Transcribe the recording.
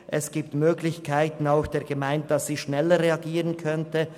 Es gibt Möglichkeiten für die Gemeinde, schneller reagieren zu können.